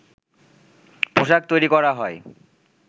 পোশাক তৈরি করা হয়